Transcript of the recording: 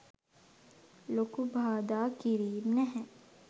ලොකු බාධා කිරීම් නැහැ.